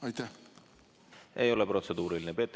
See ei ole protseduuriline küsimus.